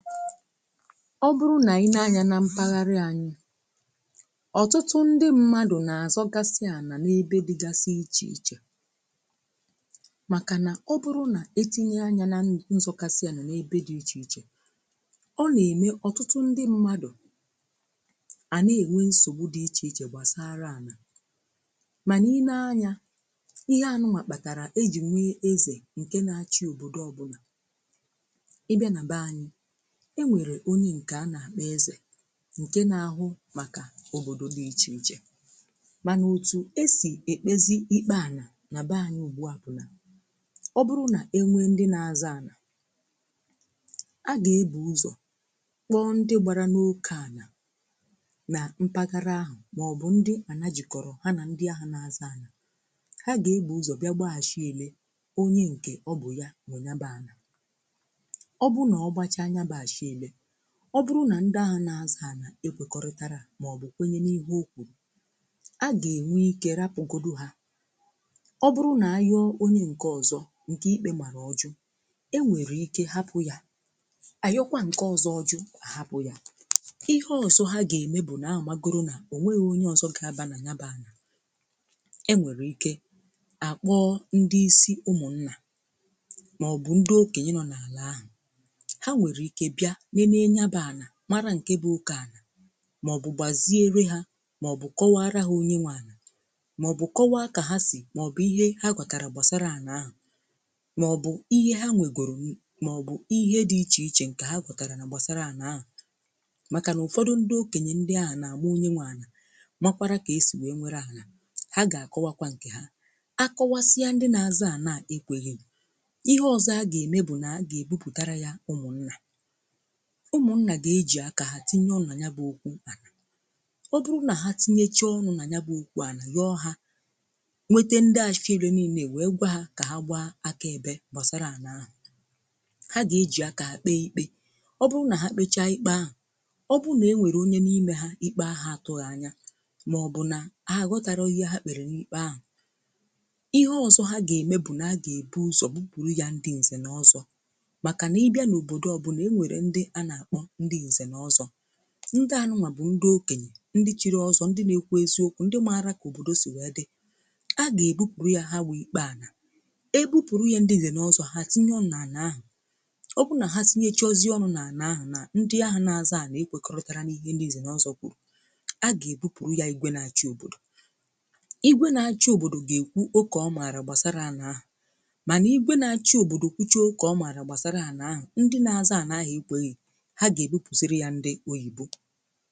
ọ bụrụ nà i nee anyȧ nà mpaghara anyị ọtụtụ ndị mmadụ̀ na-àzọ gasịa nà n’ebe dịgasị ichè ichè um makà nà ọ bụrụ nà etinye anya nà nzọgasị ya nà ebe dị ichè ichè ọ nà-ème ọ̀tụtụ ndị mmadụ̀ à na-ènwe nsògbu dị ichè ichè gbasara ànà um mànà i nee anyȧ ihe anụwàkpàtàrà ejì nwe ezè ǹke na-achị òbòdo ọbụlà ị bịa nà bẹ anyị e nwere onye nke anà kpeze nke na-ahụ makà òbòdò dị iche iche um mana òtù e sì ekpezi ikpe anà na bee anyi ugbua bụ̀ nà ọ bụrụ nà enwe ndị na-aza anà a ga-ebu ụzọ̀ kpọ ndị gbara n’oke anà na mpaghara ahụ̀ um maọ̀bụ̀ ndị ana jikọ̀rọ̀ ha na ndị ahụ na-aza anà um ha ga-egbu ụzọ̀ bịa gbaaashị ele onye nke ọ bụ̀ ya nwe nya baa anà um ọ bụrụ̀ nà ndị à na-azàanà ekwekọrịtarà à maọ̀bụ̀ kwenyene ihe o kwùrù um a ga-enwe ike rapụ̀godù hà um ọ bụrụ̀ nà ahịọ̀ onye ǹkè ọzọ̀ ǹkè ikpė màrà ọjụ̀ e nwèrè ike hapụ̀ yà um ànyọkwà ǹkè ọzọ̀ ọjụ̀ hapụ̀ yà… ihe ọsọ ha ga-eme bụ̀ nà amagodù nà ò nweghì onye ọzọ̀ ga-abanà nya baa um e nwèrè ike àkpọọ ndị isi ụmụ̀ nnà maọ̀bụ̀ ndị okenye nọ̀ n’àlà ahụ̀ nenenye bụ̀ anà marà nkè bụ̀ ukè anà maọ̀bụ̀ gbaziere hà maọ̀bụ̀ kọwarà ha onye nwà anà maọ̀bụ̀ kọwaa kà ha sì maọ̀bụ̀ ihe ha gwatarà gbasarà anà ahụ̀ hmm maọ̀bụ̀ ihe ha nwegòrò n maọ̀bụ̀ ihe dị iche ichè nke ha gwatarà na gbasarà anà ahụ̀ makà nà ụfọdụ̀ ndị̀ okenyè ndị à na-agwà onye nwà anà… um makwarà ka esì wee nwere ahụ̀ ha ga-akọwàkọ̀ nkè ha akọwasịà ndị na-azà ànà ekweghi um ihe ọzọ̀ ha ga-eme bụ̀ nà ha ga-ebubutarà ya ụmụ̀ nnà ụmụnnà ga-ejì akà ha tinye ọnànya bụ̀ okwu ụkpụ̀… um ọ bụrụ nà ha tinyecha ọnụ̀ nà nya bụ̀ okwu à nà yòọ hà um nwete ndị àfịara nille nwèe gwà hà kà ha gbaa aka ebė gbasara ànà ahụ̀ hmm ha gà-ejì akà kpee ikpe ọ bụrụ nà ha kpecha ikpe ahụ̀ ọ bụrụ nà enwèrè onye n’ime ha ikpe ahụ̀ atụ̇ghị̇ anya hmm màọ̀bụ̀ nà ha àghọtarọ ihe ha kpèrè n’ikpe ahụ̀ ihe ọzọ ha gà-ème bụ̀ nà ha gà-èbu ụzọ̀ bụ kpùru yà ndị ǹzè n’ọzọ̀ ndị à nụ̀nwà bụ̀ ndị okènyè ndị chiri ọzọ̀, ndị na-ekwo eziokwu̇ um ndị marà kà òbòdò si wèe dị a ga-ebupùru yà ha wèe ikpeà nà ebupùru yà ndị lè n’ọzọ̀ ha hmm tinye ọunà àna-àhụ̀ ọ bụrụ̀ nà ha sinyechì ọ̀zọ̀ àna-àhụ̀ na ndị ahụ̀ na-àzọ̀ a na-ekwekọrụtàrȧ n’ihe ndị izè n’ọzọ̀ kwùrù a ga-ebupùru yà igwė na-achọ̀ òbòdò um igwė na-achọ̀ òbòdò ga-ekwu okò ọ marà gbasara àna ahụ̀ manà igwė na-achọ̀ òbòdò kuchi oge ọ marà gbasara àna ahụ̀ ndị na-azọ̀ àna ahụ̀ ikweghì ha ga-ebupuzịrị ya um ndị oyibo